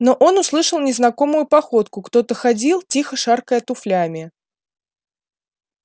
но он услышал незнакомую походку кто-то ходил тихо шаркая туфлями